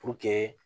Puruke